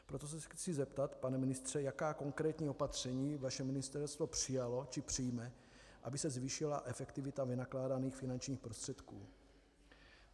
Proto se chci zeptat, pane ministře, jaká konkrétní opatření vaše ministerstvo přijalo či přijme, aby se zvýšila efektivita vynakládaných finančních prostředků.